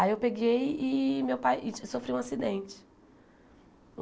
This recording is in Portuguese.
Aí eu peguei e meu pai e sofri um acidente.